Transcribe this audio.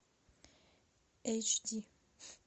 эйч ди